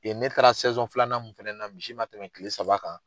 Yen ne taara filanan mun fana na misi ma tɛmɛ kile saba kan